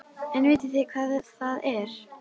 En vitið þið hvað það er?